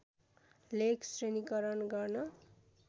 लेख श्रेणीकरण गर्न